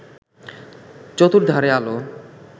চতুর্ধারে আলো